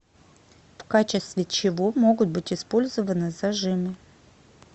в качестве чего могут быть использованы зажимы